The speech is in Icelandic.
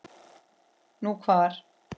Nú, hvar?